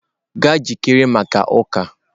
Jee jikere maka uka!.